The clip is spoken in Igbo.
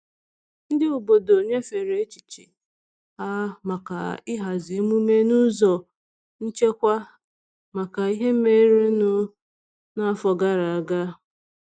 Ndị obodo nyefere echiche ha maka ịhazi emume n'ụzọ nchekwa maka ihe merenụ n'afọ gara aga.